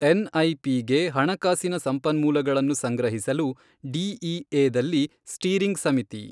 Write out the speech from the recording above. ಎನ್ಐಪಿಗೆ ಹಣಕಾಸಿನ ಸಂಪನ್ಮೂಲಗಳನ್ನು ಸಂಗ್ರಹಿಸಲು ಡಿಇಎದಲ್ಲಿ ಸ್ಟೀರಿಂಗ್ ಸಮಿತಿ.